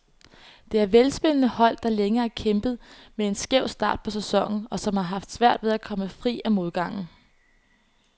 Det er velspillende hold, der længe har kæmpet med en skæv start på sæsonen, og som har haft svært ved at komme fri af modgangen.